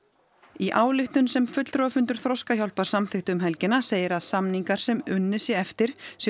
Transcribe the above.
í ályktun sem fulltrúafundur Þroskahjálpar samþykkti um helgina segir að samningar sem unnið sé eftir séu